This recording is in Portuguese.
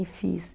E fiz.